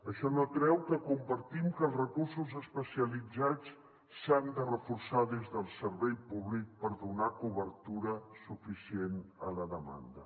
això no treu que compartim que els recursos especialitzats s’han de reforçar des del servei públic per donar cobertura suficient a la demanda